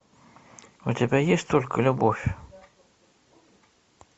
у тебя есть только любовь